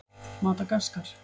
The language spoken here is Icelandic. Madagaskar